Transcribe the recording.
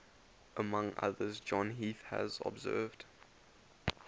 among others john heath has observed